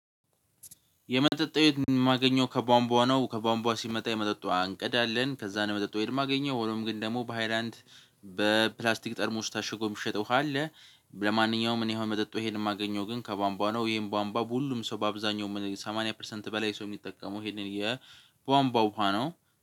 የመጠጥ የማገኘው ከቧንቧ ነው ከቧንቧ ሲመጣ የመጠጥ ውሃ እንቀዳለን አለን ከዛ ነው የመጠጥ የማገኘው ሆኖም ግን ደግሞ በሃይላንድ በፕላስቲክ ጠርሙስ ታሽጎ የሚሸጠው ውሃ አለ። ለማንኛውም እኔ አሁን መጠጥ ሄድ ማገኘው ግን ከቧንቧ ነው። ይሄን ቧንቧ ሁሉም ሰው በአብዛኛው ሰማንያ ፐርሰንት በላይ ሰው የሚጠቀመው ይሄንን የቧንቧ ውሃ ነው።